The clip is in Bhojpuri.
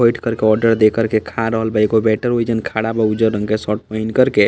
बैठ कर के ओर्डर दे कर के खा रहल बा एगो वेटर ओइजन खड़ा बा उज्जर रंग के शर्ट पहिन कर के।